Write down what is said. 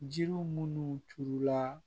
Jiriw minnu turula